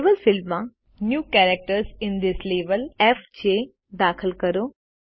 level ફિલ્ડમાં new characters માં FJ દાખલ કરો